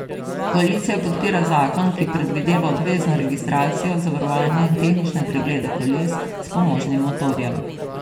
Koalicija podpira zakon, ki predvideva obvezno registracijo, zavarovanje in tehnične preglede koles s pomožnim motorjem.